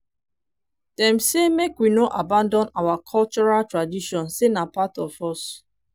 dem say make we no abandon our cultural tradition sey na part of us